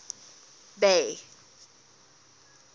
bay